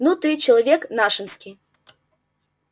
ну ты человек нашенский